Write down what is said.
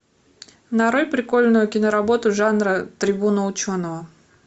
нарой прикольную киноработу жанр трибуна ученого